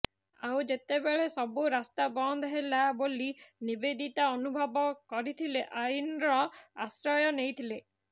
ଆଉ ଯେତେବେଳେ ସବୁ ରାସ୍ତା ବନ୍ଦ ହେଲା ବୋଲି ନିବେଦିତା ଅନୁଭବ କରିଥିଲେ ଆଇନର ଆଶ୍ରୟ ନେଇଥିଲେ